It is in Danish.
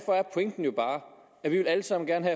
pointen jo bare at vi alle sammen gerne